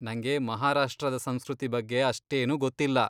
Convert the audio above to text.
ನಂಗೆ ಮಹಾರಾಷ್ಟ್ರದ ಸಂಸ್ಕೃತಿ ಬಗ್ಗೆ ಅಷ್ಟೇನು ಗೊತ್ತಿಲ್ಲ.